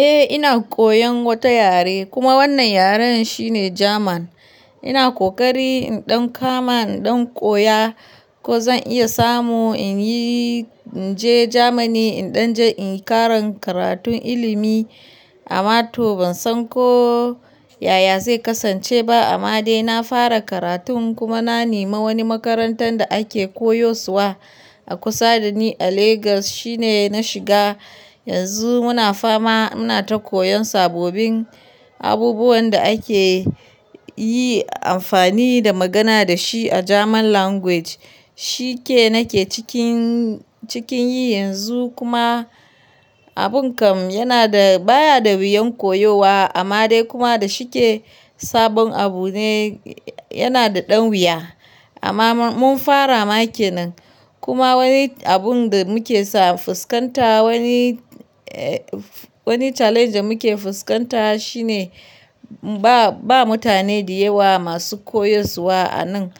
Eh ina koyan wata yare kuma wannan yaren shine German. Ina kokari in ɗan kama, in ɗan koya ko zan iya samu in yi, in je Germany in ɗan je in yi karan karatun ilimi amma to ban san ko yaya zai kasance ba amma dai na fara karatun kuma na nema wani makarantan da ake koyuswa a kusa da ni a Lagos shine na shiga. Yanzu muna fama muna ta koyan sabobin abubuwan da ake yi amfani da magana da shi a German Language. Shike nake cikin, cikin yi yanzu kuma abun kam yana da baya da wuyan koyowa amma dai kuma da shike sabon abu ne yana da ɗan wuya. Amma mun fara make nan kuma wani abun da muke sa fuskanta wani, wani challenge da muke fuskanta shine ba, ba mutane da yawa masu koyuswa a nan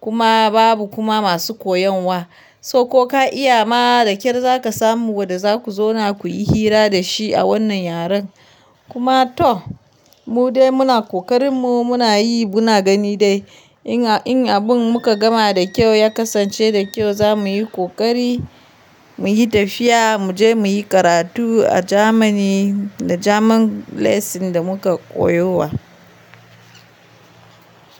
kuma babu kuma masu koyan wa. So ko ka iya ma da kyar za ka samu wanda za ku zauna ku yi hira da shi a wannan yaren. Kuma to mu dai muna kokarin mu muna yi muna gani dai in, in abun muka gama da kyau ya kasance da kyau za mu yi kokari mu yi tafiya mu je mu yi karatu a Germany da German lesson da muka koyowa.